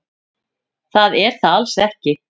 Það er það alls ekki.